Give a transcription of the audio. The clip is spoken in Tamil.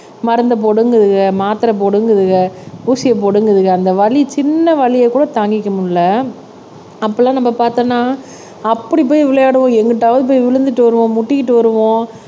மருந்து போடுங்குதுக மாத்திரை போடுங்குதுக ஊசியை போடுங்குதுக அந்த வலி சின்ன வலியை கூட தாங்கிக்க முடியலை அப்பெல்லாம் நம்ம பார்த்தோம்ன்னா அப்படி போய் விளையாடுவோம் எங்கிட்டாவது போய் விழுந்து வருவோம் முட்டிக்கிட்டு வருவோம்